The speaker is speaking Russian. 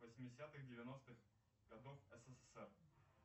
восьмидесятых девяностых годов ссср